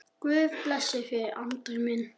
Guð blessi þig, Andri minn.